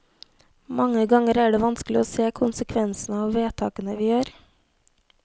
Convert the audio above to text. Mange ganger er det vanskelig å se konsekvensene av vedtakene vi gjør.